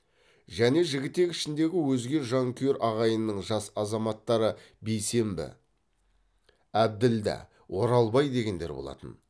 және жігітек ішіндегі өзге жанкүйер ағайынның жас азаматтары бейсембі әбділда оралбай дегендер болатын